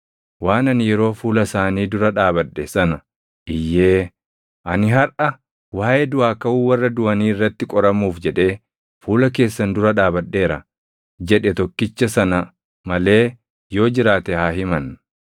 waan ani yeroo fuula isaanii dura dhaabadhe sana iyyee, ‘Ani harʼa waaʼee duʼaa kaʼuu warra duʼanii irratti qoramuuf jedhee fuula keessan dura dhaabadheera’ jedhe tokkicha sana malee yoo jiraate haa himan.”